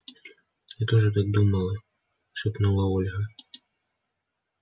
я тоже так думала шепнула ольга